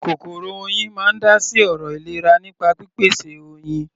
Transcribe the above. Kòkòrò Oyin máa ń dá sí ọ̀rọ̀ ìlera nípa pípèsè Oyin.